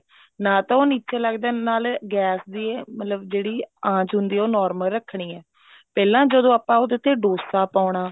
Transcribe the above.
ਨਾ ਤਾਂ ਉਹ ਨਿੱਚੇ ਲੱਗਦਾ ਨਾਲ ਹੀ ਗੈਸ ਦੀ ਜਿਹੜੀ ਆਂਚ ਹੁੰਦੀ ਆ ਉਹ normal ਰੱਖਣੀ ਆ ਪਹਿਲਾਂ ਜਦੋਂ ਆਪਾਂ ਨੇ ਉਹਦੇ ਤੇ dosa ਪਾਉਣਾ